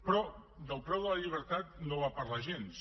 però del preu de la llibertat no en va parlar gens